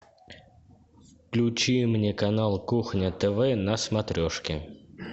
включи мне канал кухня тв на смотрешке